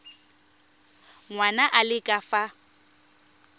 ngwana a le ka fa